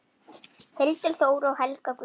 Hildur Þóra og Helga Guðný.